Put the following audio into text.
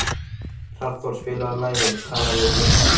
Hrafnþór, spilaðu lagið „Talað við gluggann“.